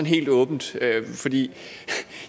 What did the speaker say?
helt åbent